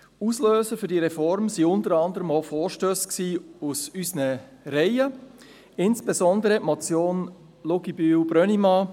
Auslöser für diese Reform sind unter anderem auch Vorstösse aus unseren Reihen, insbesondere die Motion Luginbühl/Brönnimann